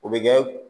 O bɛ kɛ